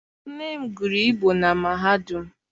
Nne m gụrụ Igbo na mahadum.